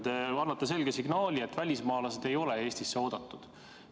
Te annate selge signaali, et välismaalased ei ole Eestisse oodatud.